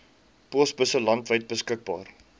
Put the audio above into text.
posbusse landwyd beskikbaar